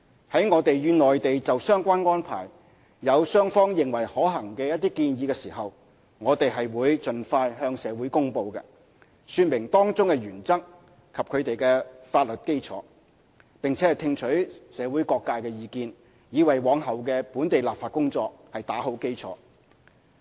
在我們與內地就相關安排有雙方認為可行的一些建議時，我們便會盡快向社會公布，說明當中的原則及其法律基礎，並聽取社會各界的意見，以為往後的本地立法工作打好基礎。